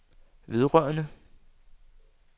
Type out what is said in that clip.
vedrørende